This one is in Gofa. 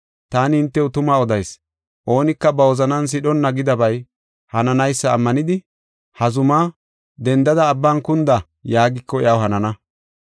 Taani hintew tuma odayis; oonika ba wozanan sidhonna gidabay hananaysa ammanidi, ha zumaa, ‘Dendada abban kunda’ yaagiko iyaw hanana.